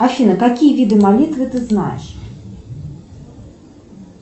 афина какие виды молитвы ты знаешь